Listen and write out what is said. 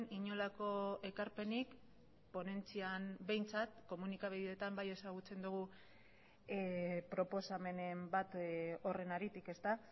inolako ekarpenik ponentzian behintzat komunikabideetan bai ezagutzen dugu proposamenen bat horren haritik ezta